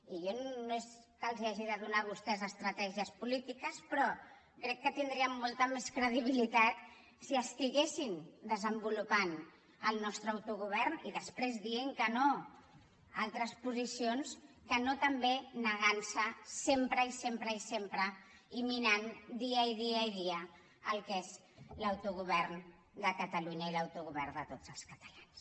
i jo no és que els hagi de donar a vostès estratègies polítiques però crec que tindrien molta més credibilitat si estiguessin desenvolupant el nostre autogovern i després dient que no a altres posicions que no també negant se sempre i sempre i sempre i minant dia i dia i dia el que és l’autogovern de catalunya i l’autogovern de tots els catalans